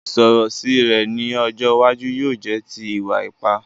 Ìsọ̀rọ̀ sí rẹ ni ọjọ́ iwájú yóò jẹ ti ìwà ipa